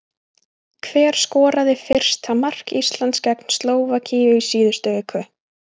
Hver skoraði fyrsta mark Íslands gegn Slóvakíu í síðustu viku?